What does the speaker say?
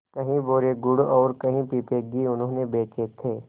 कई बोरे गुड़ और कई पीपे घी उन्होंने बेचे थे